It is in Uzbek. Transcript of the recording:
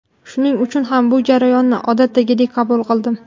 Shuning uchun ham bu jarayonni odatdagidek qabul qildim.